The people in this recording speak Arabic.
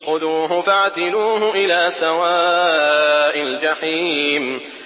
خُذُوهُ فَاعْتِلُوهُ إِلَىٰ سَوَاءِ الْجَحِيمِ